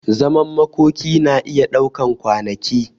Zaman makoki na iya daukan kwanaki.